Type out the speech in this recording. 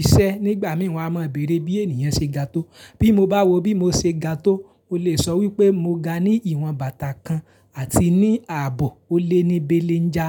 iṣẹ́ nígbà mìí wa máa bèèrè bí ènìyàn ṣe ga tó. Bí mo bá wo bí mo ṣe ga tó, o lè sọ wípé mo ga ní ìwọ̀n bàtà kan àti ní ààbò ó lé ní béélenjà.